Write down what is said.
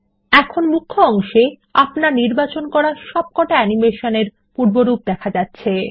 এখন মুখ্য অংশে আপনার নির্বাচিত সবকটা অ্যানিমেশন এর পূর্বরূপ দেখা যাচ্ছে